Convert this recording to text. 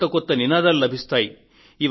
కొత్త కొత్త నినాదాలు లభిస్తాయి